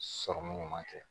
Sɔrɔmu ɲuman kɛ